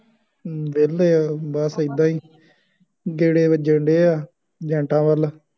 ਵਿਹਲੇ ਆਂ ਬੱਸ ਏਦਾਂ ਹੀ, ਗੇੜ੍ਹੇ ਵੱਜਣ ਡੇ ਆ, ਏਜੰਟਾਂ ਵੱਲ,